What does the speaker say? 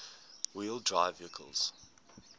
wheel drive vehicles